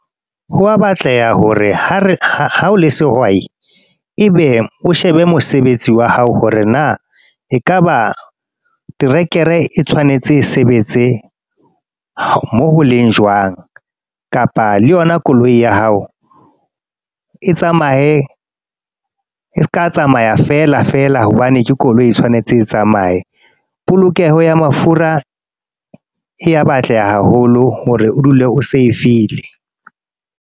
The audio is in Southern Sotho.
Ho a batleha hore ha o le sehwai. E be, o shebe mosebetsi wa hao hore na ekaba terekere e tshwanetse e sebetse moo ho leng jwang. Kapa le yona koloi ya hao, e tsamaye e seka tsamaya feela feela hobane ke koloi e tshwanetse e tsamaye. Polokeho ya mafura, e ya batleha haholo hore o dule o save-ile.